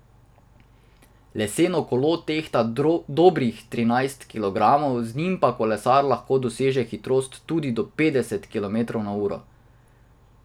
Leseno kolo tehta dobrih trinajst kilogramov, z njim pa kolesar lahko doseže hitrost tudi do petdeset kilometrov na uro.